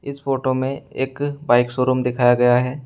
इस फोटो में एक बाइक शोरूम दिखाया गया है।